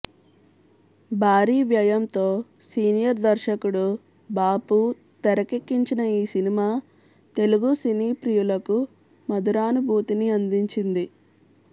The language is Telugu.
భారీ వ్యయంతో సీనియర్ దర్శకుడు బాపు తెరకెక్కించిన ఈ సినిమా తెలుగు సినీ ప్రియులకు మధురానుభూతిని అందించింది